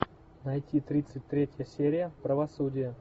найти тридцать третья серия правосудие